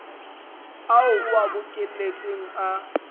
ao o a bokelletseng a